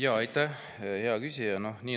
Aitäh, hea küsija!